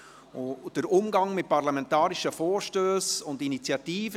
Es geht um den Umgang mit parlamentarischen Vorstössen und Initiativen.